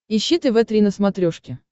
ищи тв три на смотрешке